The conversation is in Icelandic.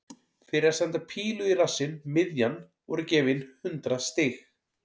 Fyrir að senda pílu í rassinn miðjan voru gefin hundrað stig.